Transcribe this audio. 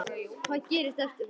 Hvað gerist eftir það?